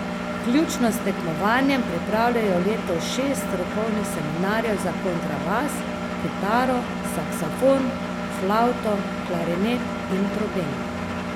Vključno s tekmovanjem pripravljajo letos šest strokovnih seminarjev za kontrabas, kitaro, saksofon, flavto, klarinet in trobento.